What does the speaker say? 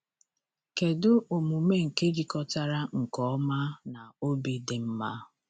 Kedu omume nke jikọtara nke ọma na obi dị mma?